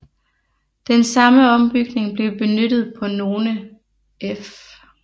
Den samme ombygning blev benyttet på nogle F